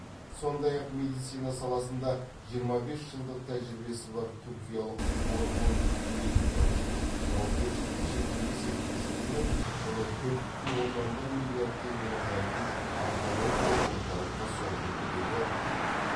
сондай ақ медицина саласында жиырма бес жылдық тәжірбиесі бар түркиялық орхун медикал жауапкешілігі шектеулі серіктестігімен құны төрт бүтін оннан бір миллиард теңгені құрайтын онкологиялық орталыққа соңғы үлгідегі